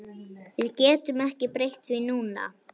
Við getum ekki breytt því núna